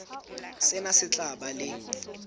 sena se tla ba le